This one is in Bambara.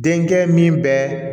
Denkɛ min bɛ